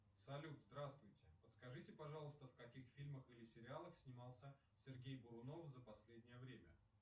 салют здравствуйте подскажите пожалуйста в каких фильмах или сериалах снимался сергей бурунов за последнее время